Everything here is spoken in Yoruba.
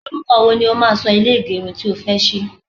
oruko wo ni o máa so ile igerun tí o fe sí?